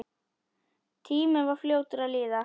Tíminn var fljótur að líða.